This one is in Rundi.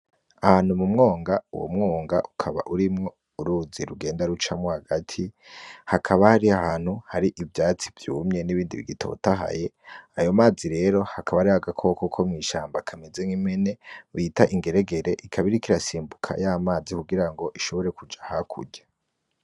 Ahantu mu mwonga uwo mwonga ukaba urimwo uruzi rugenda rucamwo hagati hakaba hari ahantu hari ivyatsi vyumye n'ibindi bigitotahaye ayo mazi rero hakaba ari hagakoko ko mw'ishamba kamezenw imene bita ingeregere ikabirikirasimbuka y'amazi kugira ngo ishobore kuja hakurya.